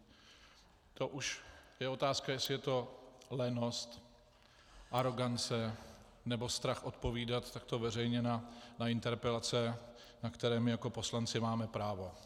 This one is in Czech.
To už je otázka, jestli je to lenost, arogance, nebo strach odpovídat takto veřejně na interpelace, na které my jako poslanci, máme právo.